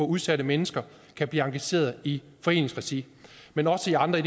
udsatte mennesker kan blive engagerede i foreningsregi men også i andre